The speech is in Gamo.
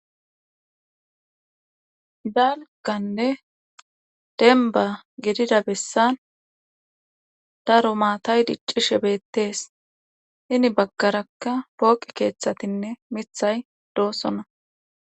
Dalgganne dembba gidida beesan daro maatay diccishe beetes. Hini bagarakka pooqe keeththatinne miththay doosona.